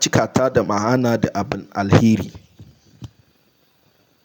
cikata da ma'ana da abun alheri.